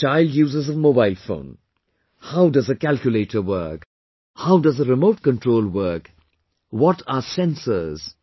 Now the child uses a mobile phone...how does a calculator work, how does a remote control work, what are sensors